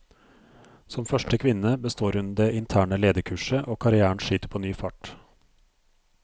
Som første kvinne består hun det interne lederkurset, og karrièren skyter på ny fart.